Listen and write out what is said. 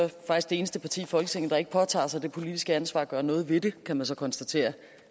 det eneste parti i folketinget der ikke påtager sig det politiske ansvar at gøre noget ved det kan man så konstatere